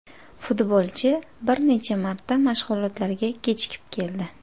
Futbolchi bir necha marta mashg‘ulotlarga kechikib keldi.